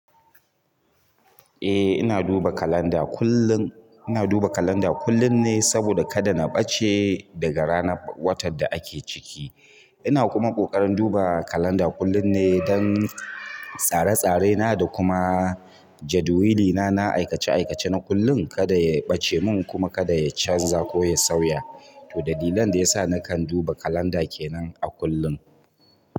Eh ina duba kalanda kullum. Ina duba kalanda kullum ne saboda kada na ɓace daga ranar watan da ake ciki. Ina kuma ƙoƙarin duba kalanda kullum ne don tsare-tsarena da kuma jadawilina na aikace-aikace na kullum kada ya ɓace mun kuma kada ya canza ko ya sauya. To dalilan da yasa nakan duba kalanda kenan a kullum.